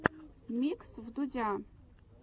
микс вдудя